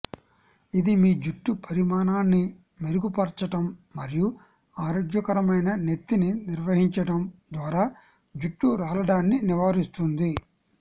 ఇది మీ జుట్టు పరిమాణాన్ని మెరుగుపరచడం మరియు ఆరోగ్యకరమైన నెత్తిని నిర్వహించడం ద్వారా జుట్టు రాలడాన్ని నివారిస్తుంది